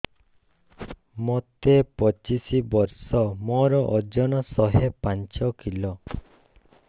ମୋତେ ପଚିଶି ବର୍ଷ ମୋର ଓଜନ ଶହେ ପାଞ୍ଚ କିଲୋ